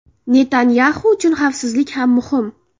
Netanyaxu uchun xavfsizlik ham muhim.